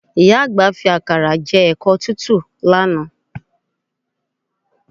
Ìyá àgbà fi àkàrà jẹ ẹ̀kọ tútù lánàá